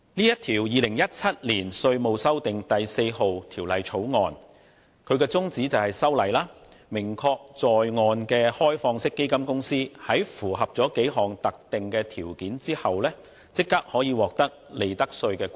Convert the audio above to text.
《2017年稅務條例草案》旨在訂明在岸開放式基金公司在符合若干特定條件下，即可獲利得稅豁免。